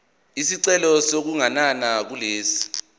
isicelo sokuganana kulesi